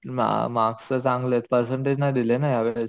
mark marks तर चांगले percentage नाही दिले ना या वेळेस